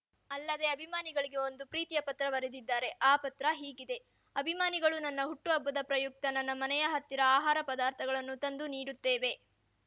ಅಲ್ಲದೇ ಅಭಿಮಾನಿಗಳಿಗೆ ಒಂದು ಪ್ರೀತಿಯ ಪತ್ರ ಬರೆದಿದ್ದಾರೆ ಆ ಪತ್ರ ಹೀಗಿದೆ ಅಭಿಮಾನಿಗಳು ನನ್ನ ಹುಟ್ಟುಹಬ್ಬದ ಪ್ರಯುಕ್ತ ನನ್ನ ಮನೆಯ ಹತ್ತಿರ ಆಹಾರ ಪದಾರ್ಥಗಳನ್ನು ತಂದು ನೀಡುತ್ತೇವೆ